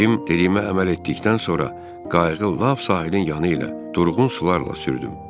Cim dediyimə əməl etdikdən sonra qayığı lap sahilin yanı ilə durğun sularla sürdüm.